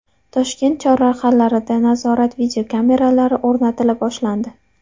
Toshkent chorrahalarida nazorat videokameralari o‘rnatila boshlandi.